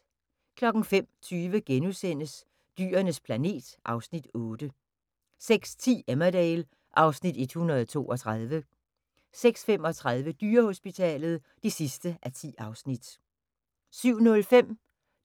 05:20: Dyrenes planet (Afs. 8)* 06:10: Emmerdale (Afs. 132) 06:35: Dyrehospitalet (10:10) 07:05: